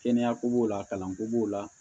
Kɛnɛya ko b'o la kalanko b'o la